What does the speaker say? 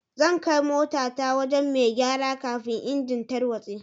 Zan kai mota ta wajen mai gyara kafin engine tarwatse.